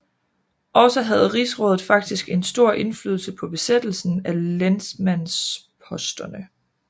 Også havde rigsrådet faktisk en stor indflydelse på besættelsen af lensmandsposterne